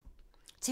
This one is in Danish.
TV 2